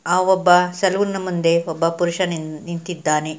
ಆ ಒಬ್ಬ ಸಲೂನ್ ಮುಂದೆ ಒಬ್ಬ ಪುರುಷ ನಿಂತಿದ್ದಾನೆ.